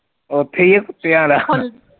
ਉਥੇ ਹੀ ਆ ਕੁੱਤਿਆਂ ਦਾ?